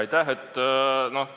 Aitäh!